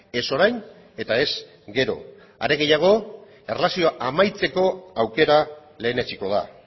ez orain eta ez gero are gehiago erlazioa amaitzeko aukera lehenetsiko da